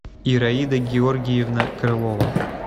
ираида георгиевна крылова